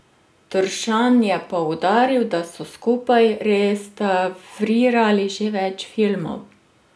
Tršan je poudaril, da so skupaj restavrirali že več filmov.